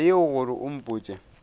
taba yeo gore o mpotše